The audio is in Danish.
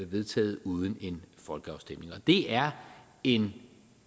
vedtaget uden en folkeafstemning det er en